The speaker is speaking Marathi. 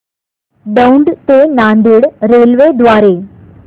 दौंड ते नांदेड रेल्वे द्वारे